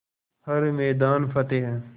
हर मैदान फ़तेह